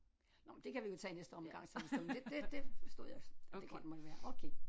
Nåh men det kan vi jo tage i næste omgang så det det det forstod jeg sådan det godt måtte være okay